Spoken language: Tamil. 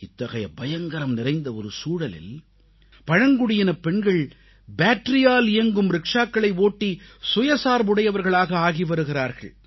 இத்தகைய பயங்கரம் நிறைந்த ஒரு சூழலில் பழங்குடியினப் பெண்கள் பேட்டரியால் இயங்கும் ரிக்ஷாக்களை ஓட்டி சுயசார்புடையவர்களாக ஆகி வருகிறார்கள்